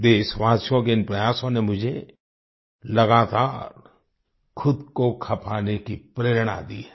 देशवासियों के इन प्रयासों ने मुझे लगातार खुद को खपाने की प्रेरणा दी है